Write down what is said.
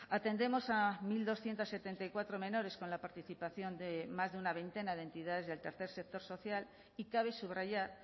atendemos a mil doscientos setenta y cuatro menores con la participación de más de una veintena de entidades del tercer sector social y cabe subrayar